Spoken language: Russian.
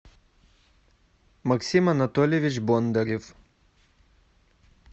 максим анатольевич бондарев